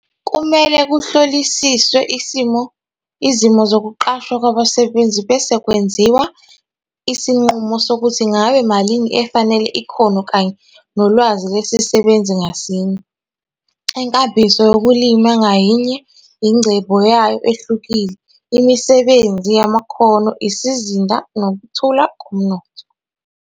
Kumele kuhlolisiswe izimo zokuqashwa kwabasebenzi bese kwenziwa isinqumo sokuthi ngabe malini efanele ikhono kanye nolwazi lesisebenzi ngasinye. Inkambiso yokulima ngayinye inengcebo yayo ehlukile, imisebenzi yamakhono, isizinda nokukhula komnotho.